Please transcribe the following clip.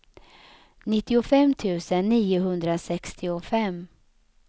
nittiofem tusen niohundrasextiofem